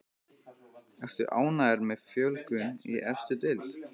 Ertu ánægður með fjölgun í efstu deild?